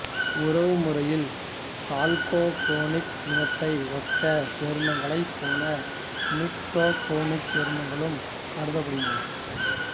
உறவுமுறையில் chalcogenic இனத்தை ஒத்த சேர்மங்களைப் போல நிக்டோகெனிக் சேர்மங்களும் கருதப்படுகின்றன